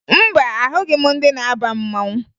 Mba, ahụghị m ndị na-aba mmanwụ